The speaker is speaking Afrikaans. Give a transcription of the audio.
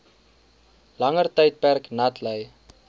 langer tydperk natlei